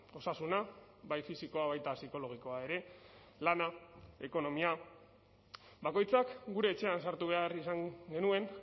osasuna bai fisikoa baita psikologikoa ere lana ekonomia bakoitzak gure etxean sartu behar izan genuen